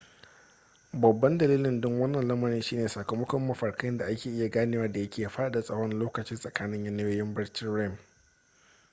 babban dalilin don wannan lamarin shi ne sakamakon mafarkai da ake iya ganewa da yake faɗaɗa tsawon lokacin tsakanin yanayoyin barcin rem